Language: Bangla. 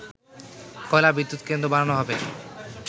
কয়লা বিদ্যুত কেন্দ্র বানানো হবে